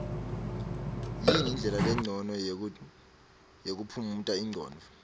yini ndlela lencono yokuphumuta ingcondvo